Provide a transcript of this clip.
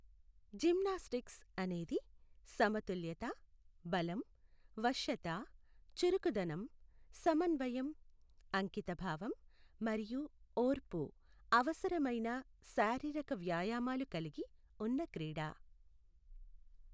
Gymnastics అనేది సమతుల్యత, బలం, వశ్యత, చురుకుదనం, సమన్వయం, అంకితభావం మరియు ఓర్పు అవసరమైన శారీరక వ్యాయామాలు కలిగి ఉన్న క్రీడ.